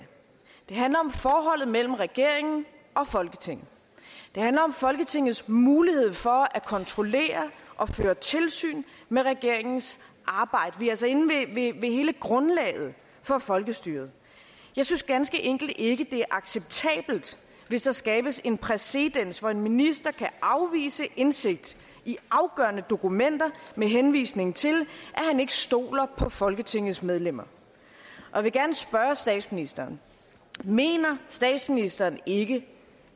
det handler om forholdet mellem regeringen og folketinget det handler om folketingets mulighed for at kontrollere og føre tilsyn med regeringens arbejde vi er altså inde ved hele grundlaget for folkestyret jeg synes ganske enkelt ikke det er acceptabelt hvis der skabes en præcedens hvor en minister kan afvise indsigt i afgørende dokumenter med henvisning til at han ikke stoler på folketingets medlemmer jeg vil gerne spørge statsministeren mener statsministeren ikke